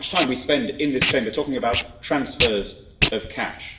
How much time we spend in this Chamber talking about transfers of cash!